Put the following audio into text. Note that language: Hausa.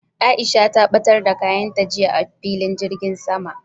Aisha ta ɓatar da kayan ta jiya a filin jirgin sama